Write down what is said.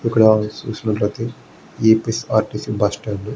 ఎక్కడ మనం చూసినట్లయితే ఏ_పీ_ఎస్ఆర్టీసీ బస్టాండ్ --